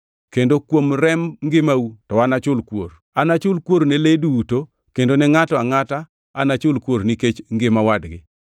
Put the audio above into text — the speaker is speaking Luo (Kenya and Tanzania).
Kendo kuom remb ngimau to anachul kuor. Anachul kuor ne le duto kendo ne ngʼato ka ngʼato anachul kuor nikech ngima wadgi.